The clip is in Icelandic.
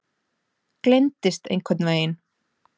Gleymdist einhvern veginn.